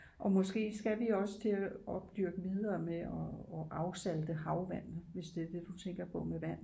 Og måske skal vi også til at opdyrke videre med og afsalte havvand hvis det er det du tænker på med vand